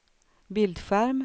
bildskärm